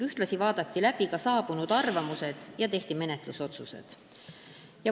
Ühtlasi vaadati läbi saabunud arvamused ja tehti ka menetlusotsused.